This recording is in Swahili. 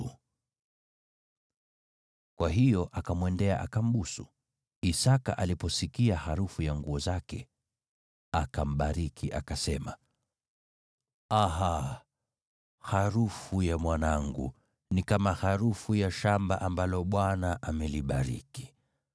Kwa hiyo akamwendea akambusu. Isaki aliposikia harufu ya nguo zake, akambariki, akasema, “Aha, harufu ya mwanangu ni kama harufu ya shamba ambalo Bwana amelibariki.